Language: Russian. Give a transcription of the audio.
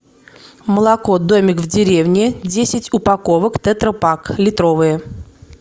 молоко домик в деревне десять упаковок тетра пак литровые